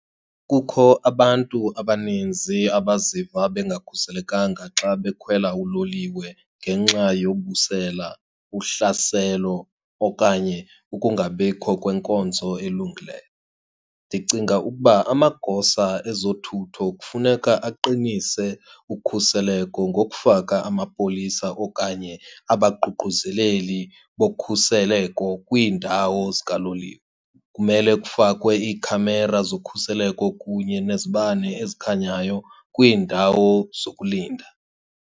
Kukho abantu abaninzi abaziva bengakhuselekanga xa bekhwela uloliwe ngenxa yobusela, uhlaselo okanye ukungabikho kwenkonzo elungileyo. Ndicinga ukuba amagosa ezothutho kufuneka aqinise ukhuseleko ngokufaka amapolisa okanye abaququzeleli bokhuseleko kwiindawo zikaloliwe. Kumele kufakwe iikhamera zokhuseleko kunye nezibane ezikhanyayo kwiindawo zokulinda.